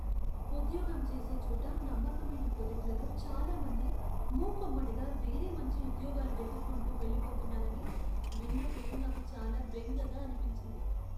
ఉద్యోగం చేసే చోట నమ్మకమైన కొలీగ్లలో చాలా మంది మూకుమ్మడిగా వేరే మంచి ఉద్యోగాలు వెతుక్కుంటూ వెళ్లిపోతున్నారని విన్నప్పుడు నాకు చాలా బెంగగా అనిపించింది.